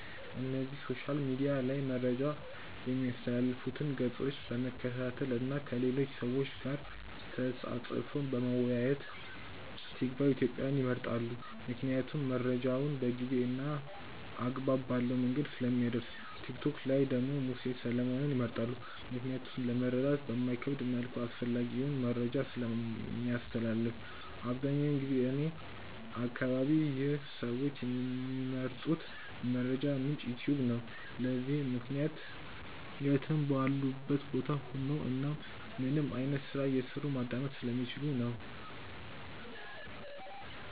እነዚህ ሶሻል ሚድያ ላይ መረጃ ሚያስተላልፉትን ገፆች በመከታተል እና ከሌሎች ሰዎች ጋር ተፃፅፎ በመወያየት። ቲክቫ ኢትዮጵያን ይመርጣሉ ምክንያቱም መረጃውን በጊዜ እና አግባብ ባለው መንገድ ስለሚያደርስ። ቲክቶክ ላይ ደግሞ ሙሴ ሰለሞንን ይመርጣሉ ምክንያቱም ለመረዳት በማይከብድ መልኩ አስፈላጊውን መረጃን ስለሚያስተላልፍ። አብዛኛውን ጊዜ እኔ አከባቢ ይህ ሰዎች ሚመርጡት የመረጃ ምንጭ "ዩትዩብ" ነው። ለዚህም ምክንያት የትም ባሉበት ቦታ ሆነው እናም ምንም አይነት ስራ እየሰሩ ማዳመጥ ስለሚችሉ ነው።